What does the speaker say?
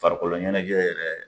Farikolo ɲɛnajɛ yɛrɛ